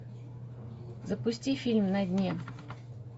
запусти фильм на дне